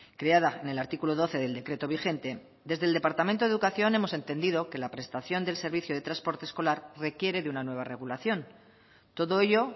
creada en el artículo doce del decreto vigente desde el departamento de educación hemos entendido que la prestación del servicio de transporte escolar requiere de una nueva regulación todo ello